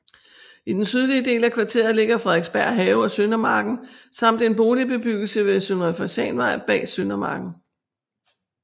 I den sydlige del af kvarteret ligger Frederiksberg Have og Søndermarken samt en boligbebyggelse ved Søndre Fasanvej bag Søndermarken